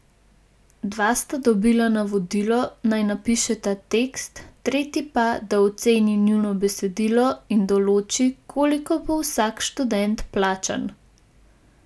Dva sta dobila navodila, naj napišeta tekst, tretji pa, da oceni njuno besedilo in določi, koliko bo vsak študent plačan.